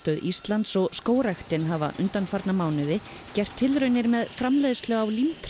Íslands og skógræktin hafa undanfarna mánuði gert tilraunir með framleiðslu á